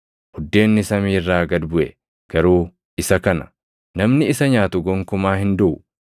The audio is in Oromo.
Buddeenni samii irraa gad buʼe garuu isa kana; namni isa nyaatu gonkumaa hin duʼu.